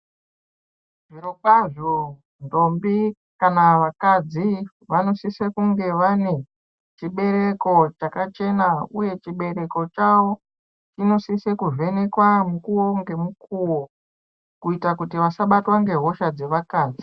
Zvirokwazo, ndombi kana vakadzi, vanosise kunge vanechibereko chakachena. Uye chibereko chawo, chinosise kuvhenekwa mukuwo ngemukuwo, kuyita kuti vasabatwa ngehosha dzevakadzi.